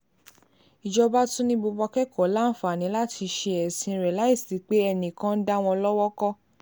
ìjọba tún ni gbogbo akẹ́kọ̀ọ́ láǹfààní láti ṣe ẹ̀sìn rẹ̀ láì sí pé enìkan ń dá wọn lọ́wọ́ kò